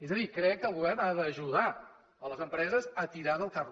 és a dir crec que el govern ha d’ajudar les empreses a tirar el carro